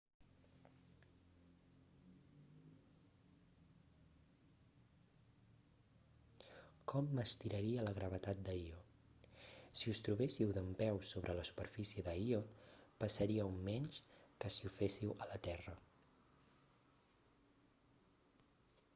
com m'estiraria la gravetat de io si us trobéssiu dempeus sobre la superfície de io pesaríeu menys que si ho féssiu a la terra